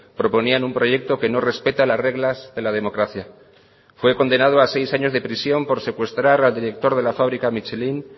proponían un proyecto que no respeta las reglas de la democracia fue condenado a seis años de prisión por secuestrar al director de la fábrica michelin